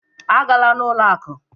A gala n'ụlọ akụ!